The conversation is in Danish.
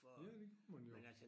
Ja det gjorde man jo